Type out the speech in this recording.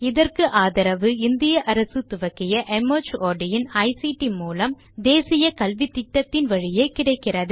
மேற்கொண்டு விவரங்கள் வலைத்தளத்தில் கிடைக்கும்